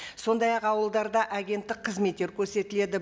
сондай ақ ауылдарда агенттік қызметттер көрсетіледі